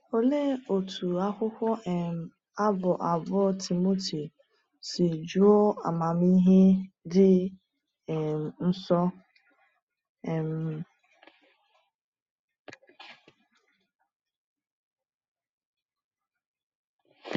Olee otú akwụkwọ um Abụ abụọ Timoteo si juo amamihe dị um nsọ! um